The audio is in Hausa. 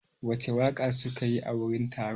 Wace waƙa suke yi a wurin taron?